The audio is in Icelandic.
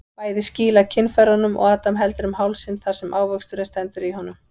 Bæði skýla kynfærunum og Adam heldur um hálsinn þar sem ávöxturinn stendur í honum.